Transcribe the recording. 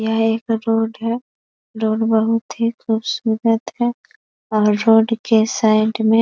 यह एक रोड है रोड बहोत ही खूबसूरत है और रोड के साइड में --